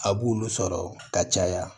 A b'olu sɔrɔ ka caya